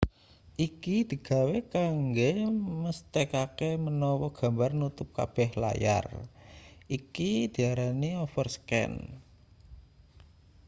iki digawe kanggo mesthekake menawa gambar nutup kabeh layar iki diarani overscan